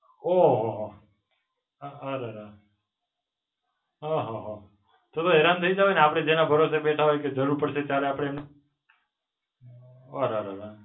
ઓ હો હો. અ ર ર. અ હો હો. તમે હેરાન થઈ જાઓ ને, આપડે જેના ભરોસે બેઠા હોય કે જરૂર પડશે ત્યારે આપડે એમને, અ ર ર ર.